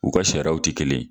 U ka sariyaw ti kelen ye.